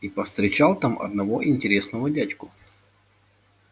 и повстречал там одного интересного дядьку